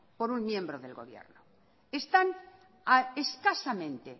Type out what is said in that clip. por un miembro del gobierno están a escasamente